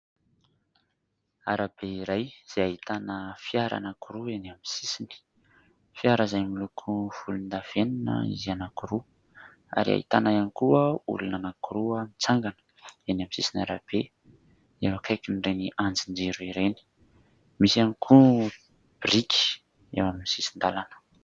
Arabe iray izay ahitana fiara anankiroa enỳ amin'ny sisiny. Fiara izay miloko volondavenona izy anankiroa ary ahitana ihany koa olona anankiroa mitsangana enỳ amin'ny sisiny arabe eo akaikin'ireny andrin-jiro ireny. Misy ihany koa briky eo amin'ny sisin-dalana.